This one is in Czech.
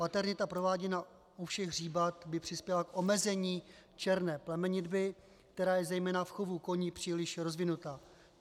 Paternita prováděná u všech zvířat by přispěla k omezení černé plemenitby, která je zejména v chovu koní příliš rozvinuta.